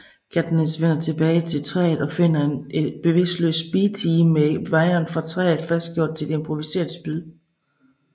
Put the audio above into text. Katniss vender tilbage til træet og finder en bevidstløs Beetee med wiren fra træet fastgjort til et improviseret spyd